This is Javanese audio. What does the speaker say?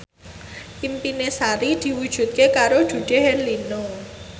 impine Sari diwujudke karo Dude Herlino